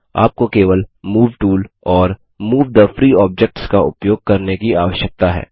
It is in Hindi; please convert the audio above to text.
आपको केवल मूव टूल और मूव थे फ्री ऑब्जेक्ट्स का उपयोग करने की आवश्यकता है